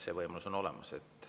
See võimalus on olemas.